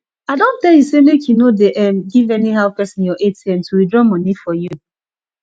i don tell you say make you no dey um give anyhow person your atm to withdraw money for you